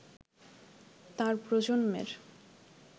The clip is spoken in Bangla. তার প্রজন্মের